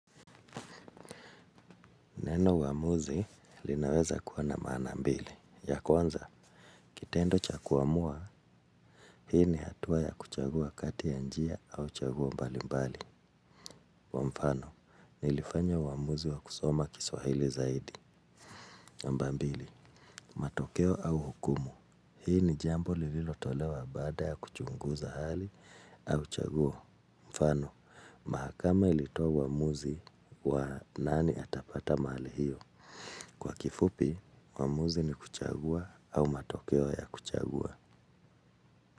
Neno uamuzi linaweza kuwa na maana mbili. Ya kwanza, kitendo cha kuamua, hii ni hatua ya kuchagua kati ya njia au chaguo mbali mbali. Kwa mfano, nilifanya uamuzi wa kusoma kiswahili zaidi. Namba mbili, matokeo au hukumu. Hii ni jambo lililotolewa baada ya kuchunguza hali au chaguo. Mfano, mahakama ilitoa uamuzi wa nani atapata mahali hio. Kwa kifupi, uamuzi ni kuchagua au matokeo ya kuchagua.